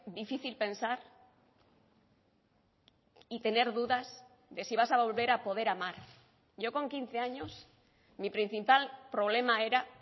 difícil pensar y tener dudas de si vas a volver a poder amar yo con quince años mi principal problema era